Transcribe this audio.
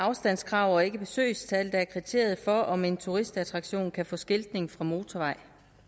afstandskrav og ikke besøgstal der er kriteriet for om en turistattraktion kan få skiltning fra motorveje